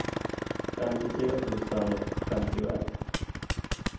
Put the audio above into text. femtiotre tusen femtioett